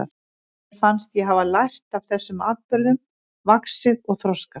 Mér fannst ég hafa lært af þessum atburðum, vaxið og þroskast.